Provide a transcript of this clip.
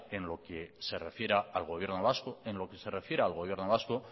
en lo que se refiera al gobierno vasco en lo que se refiera al gobierno vasco